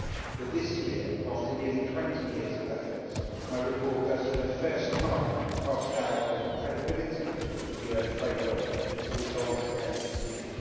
but this year after nearly twenty years of efforts my report does, for the first time, cast doubt on the credibility of the UN framework to resolve the name dispute.